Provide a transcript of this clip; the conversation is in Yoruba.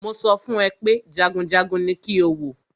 Mo sọ fún ẹ pé jagunjagun ní kí o wò!